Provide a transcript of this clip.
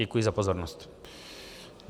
Děkuji za pozornost.